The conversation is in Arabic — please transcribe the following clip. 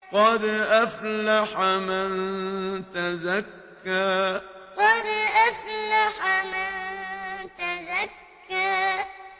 قَدْ أَفْلَحَ مَن تَزَكَّىٰ قَدْ أَفْلَحَ مَن تَزَكَّىٰ